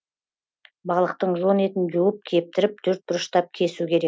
балықтың жон етін жуып кептіріп төртбұрыштап кесу